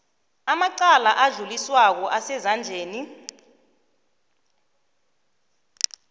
amacala adluliswako asezandleni